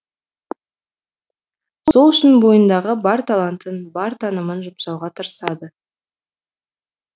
сол үшін бойындағы бар талантын бар танымын жұмсауға тырысады